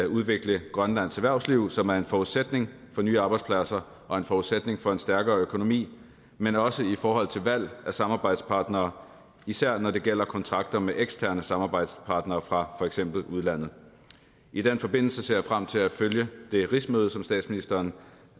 udvikle grønlands erhvervsliv som er en forudsætning for nye arbejdspladser og en forudsætning for en stærkere økonomi men også i forhold til valg af samarbejdspartnere især når det gælder kontrakter med eksterne samarbejdspartnere fra for eksempel udlandet i den forbindelse ser jeg frem til at følge det rigsmøde som statsministeren